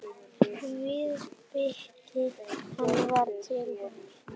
Viðbiti hann var til sanns.